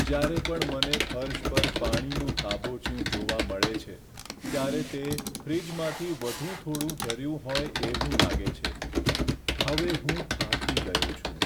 જ્યારે પણ મને ફર્શ પર પાણીનું ખાબોચિયું જોવા મળે છે, ત્યારે તે ફ્રિજમાંથી વધુ થોડું ઝર્યું હોય એવું લાગે છે. હવે હું થાકી ગયો છું.